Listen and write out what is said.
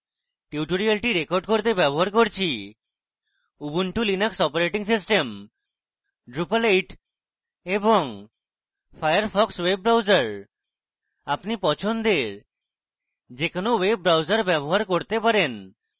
tutorial record করতে ব্যবহার করছি Ubuntu Linux operating system drupal 8 এবং ফায়ারফক্স ওয়েব ব্রাউজার আপনি পছন্দের যে কোনো ওয়েব ব্রাউজার ব্যবহার করতে পারেন